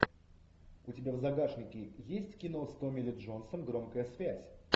у тебя в загашнике есть кино с томми ли джонсом громкая связь